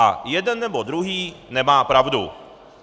A jeden nebo druhý nemá pravdu.